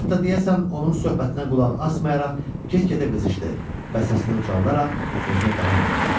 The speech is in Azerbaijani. Hətta deyəsən onun söhbətinə qulaq asmayaraq get-gedə qızışdı, bəsaətini ucaldaraq sözünə davam etdi.